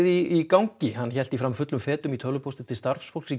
í gangi hann hélt því fram fullum fetum í tölvupósti til starfsfólks